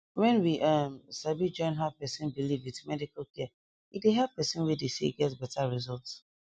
wen we um sabi join how person believe with medical care e dey help person wey dey sick get beta result